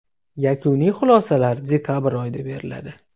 Yakuniy xulosalar dekabr oyida beriladi.